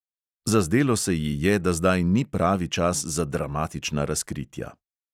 Zazdelo se ji je, da zdaj ni pravi čas za dramatična razkritja.